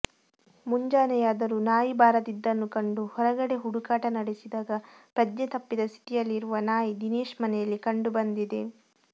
ಮುಂಜಾನೆಯಾದರೂ ನಾಯಿ ಬಾರದಿದ್ದನ್ನು ಕಂಡು ಹೊರಗಡೆ ಹುಡುಕಾಟ ನಡೆಸಿದಾಗ ಪ್ರಜ್ಞೆ ತಪ್ಪಿದ ಸ್ಥಿತಿಯಲ್ಲಿರುವ ನಾಯಿ ದಿನೇಶ್ ಮನೆಯಲ್ಲಿ ಕಂಡು ಬಂದಿದೆ